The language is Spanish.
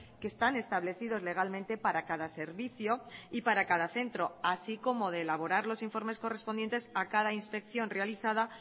que están establecidos legalmente para cada servicio y para cada centro así como de elaborar los informes correspondientes a cada inspección realizada